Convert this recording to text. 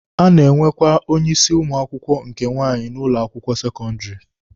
A na-enwekwa onye isi ụmụ akwụkwọ nke nwaanyị n'ụlọ akwụkwọ sekọndịrị.